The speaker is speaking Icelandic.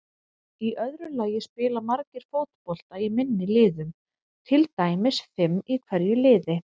Í öðru lagi spila margir fótbolta í minni liðum, til dæmis fimm í hverju liði.